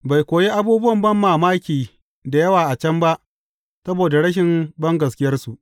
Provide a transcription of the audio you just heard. Bai kuwa yi abubuwan banmamaki da yawa a can ba saboda rashin bangaskiyarsu.